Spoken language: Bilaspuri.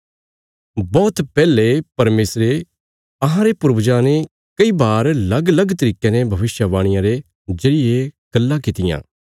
बौहत पैहले परमेशरे अहांरे पूर्वजां ने कई बार लगलग तरीकयां ने भविष्यवक्तयां रे जरिये गल्लां कित्तियां